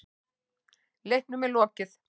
Leiknum er lokið